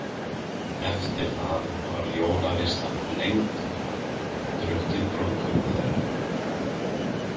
Eftir það var jólaveislan lengd og drukkið brúðkaup þeirra.